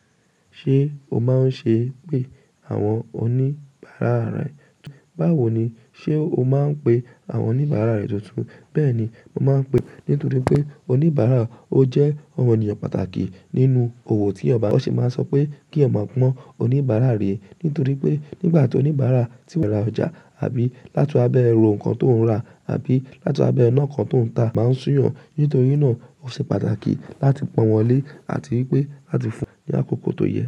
Ṣé o máa ń ṣe pé àwọn oníbàárà rẹ, báwo ni ṣe o máa ń pe àwọn oníbàárà rẹ tuntun? Bẹ́ẹ̀ni, mo máa ń pe, nítorí pé oníbàárà ó jẹ́ ọmọnìyàn pàtàkì nínú òwò tí èyàn ba. Wọ́n sì máa sọ pé kí ẹ máa gbọ́n oníbàárà rẹ, nítorí pé nígbà tí oníbàárà ti wẹ̀ ra ọjà àbí láti abẹ́ wò nǹkan tó ń rà àbí láti abẹ́ iná kan tó ń ta máa ń sún ìyàn, nítorí náà ó ṣe pàtàkì láti pọ̀n wọ́n lé àti wí pé láti fún wọn ní àkókò tó yẹ.